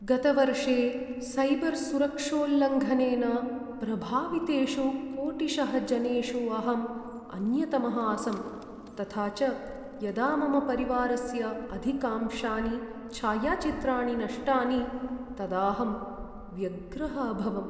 गतवर्षे सैबर् सुरक्षोल्लङ्घनेन प्रभावितेषु कोटिशः जनेषु अहम् अन्यतमः आसं, तथा च यदा मम परिवारस्य अधिकांशानि छायाचित्राणि नष्टानि, तदाहं व्यग्रः अभवम्।